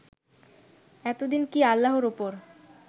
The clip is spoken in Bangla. এতদিন কি আল্লাহর উপর